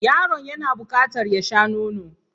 Yaron yana bukatar ya sha nono.